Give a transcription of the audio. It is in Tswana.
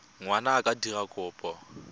ngwana a ka dira kopo